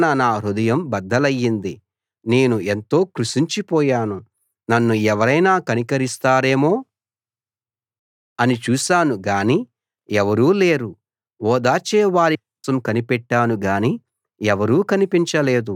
నింద వలన నా హృదయం బద్దలైంది నేను ఎంతో కృశించిపోయాను నన్ను ఎవరైనా కనికరిస్తారేమో అని చూశాను గానీ ఎవరూ లేరు ఓదార్చే వారి కోసం కనిపెట్టాను గాని ఎవరూ కనిపించ లేదు